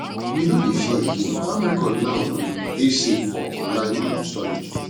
we no dey fear again farm record now um dey safe for online um storage